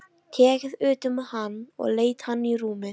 Tekið utan um hann og leitt hann í rúmið.